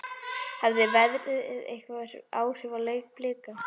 Hafði veðrið einhver áhrif á leik Blika?